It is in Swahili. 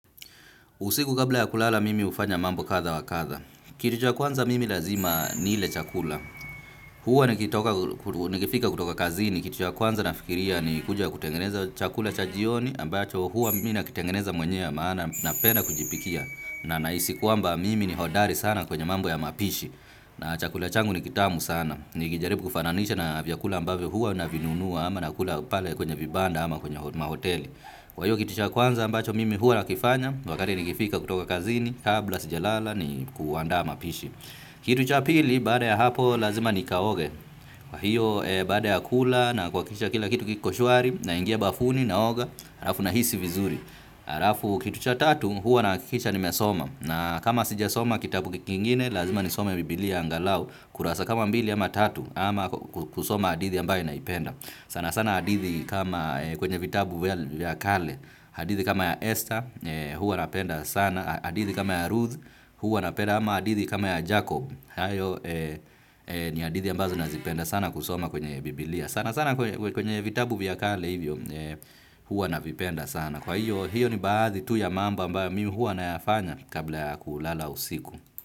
Usiku kabla ya kulala mimi hufanya mambo kadha wa kadha. Kitu cha kwanza mimi lazima nile chakula. Huwa nikitoka nikifika kutoka kazini kitu cha kwanza nafikiria ni kuja kutengeneza chakula cha jioni ambacho huwa mimi nakitengeneza mwenyewe maana napenda kujipikia. Na nahisi kwamba mimi ni hodari sana kwenye mambo ya mapishi. Na chakula changu ni kitamu sana. Nikijaribu kufananisha na vyakula ambavyo huwa navinunua ama nakula pale kwenye vibanda ama kwenye mahoteli. Kwa hiyo kitu cha kwanza ambacho mimi huwa nakifanya wakati nikifika kutoka kazini kabla sijalala ni kuandaa mapishi. Kitu cha pili, baada ya hapo, lazima nikaoge. Kwa hiyo, baada ya kula na kuhakikisha kila kitu kiko shwari, naingia bafuni, naoga, halafu nahisi vizuri. Halafu kitu cha tatu, huwa nahakikisha nimesoma. Na kama sijasoma kitabu kingine, lazima nisome biblia angalau. Kurasa kama mbili ama tatu, ama kusoma hadithi ambayo naipenda. Sana sana hadithi kama kwenye vitabu vya kale, hadithi kama ya Esther, huwa napenda sana, hadithi kama ya Ruth, huwa napenda ama hadithi kama ya Jacob, hayo ni hadithi ambazo nazipenda sana kusoma kwenye Biblia. Sana sana kwenye vitabu vya kale hivyo, huwa navipenda sana. Kwa hiyo, hiyo ni baadhi tu ya mambo ambayo mimi huwa nayafanya kabla ya kulala usiku.